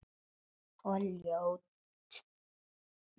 Og ljótur.